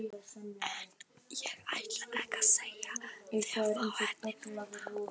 En ég ætla ekki að segja þér frá henni núna.